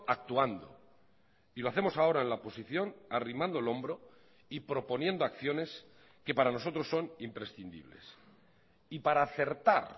actuando y lo hacemos ahora en la oposición arrimando el hombro y proponiendo acciones que para nosotros son imprescindibles y para acertar